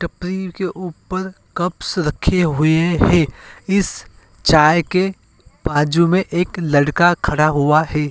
टपरी के ऊपर कप्स रखे हुए हैं। इस चाय के बाजु में एक लड़का खड़ा हुआ है।